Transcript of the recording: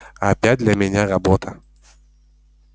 опять для меня работа